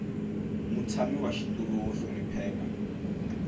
mutshami wa xitulu wo hlonipheka